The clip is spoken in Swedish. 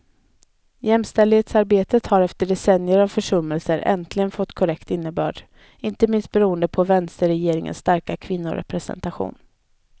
Jämställdhetsarbetet har efter decennier av försummelser äntligen fått konkret innebörd, inte minst beroende på vänsterregeringens starka kvinnorepresentation.